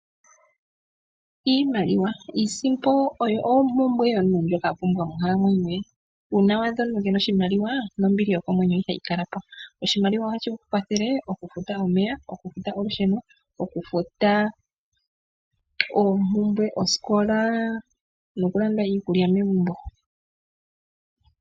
Iimaliwa. Iisimpo oyo ompumbwe yomuntu ndjoka a pumbwa moghalamwenyo ye. Uuna wa adha omuntu ke ena oshimaliwa, nombili yokomwenyo ihayi kala po. Oshimaliwa ohashi kwathele, okufuta omeya, okufuta olusheno, okufuta oompumbwe dhosikola, nokulanda iikulya megumbo.